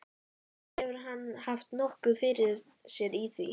Sjálfsagt hefur hann haft nokkuð fyrir sér í því.